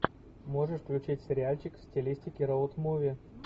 можешь включить сериальчик в стилистике роуд муви